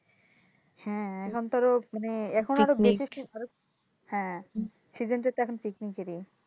হ্যাঁ এখন তো আরও এখন হ্যাঁ season টা তো আরও picnic এরই।